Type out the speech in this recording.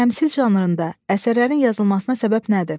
Təmsil janrında əsərlərin yazılmasına səbəb nədir?